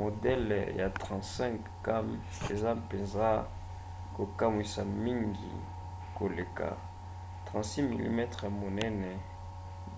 modele ya 35 cam eza mpenza kokamwisa mingi koleka 36 mm ya monene